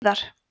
víðar